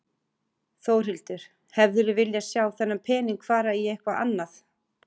Þórhildur: Hefðirðu viljað sjá þennan pening fara í eitthvað annað?